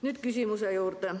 Nüüd küsimuse juurde.